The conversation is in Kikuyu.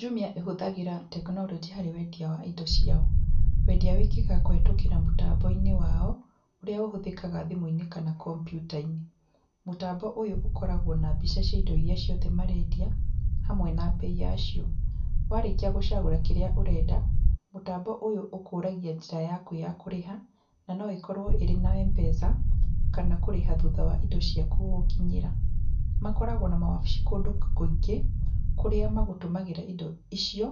Jumia ĩhũthagĩra tekinoronjĩ harĩ wendia wa indo ciao. Wendia wĩkĩkaga kũhĩtũkĩra mũtambo-inĩ wao, ũrĩa ũhũthĩkaga thimũ-inĩ kana kompiuta-inĩ. Mũtambo ũyũ ũkoragwo na mbica cia indo iria ciothe marendia hamwe na mbei yacio, warĩkia gũcagũra kĩrĩa ũrenda, mũtambo ũyũ ũkũragia njĩra yaku ya kũrĩha, na no ĩkorwo ĩrĩ na Mpesa, kana kũrĩha thutha wa indo ciaku gũgũkinyĩra. Makoragwo na mawabici kũndũ kũingĩ, kũrĩa magũtũmagĩra indo icio,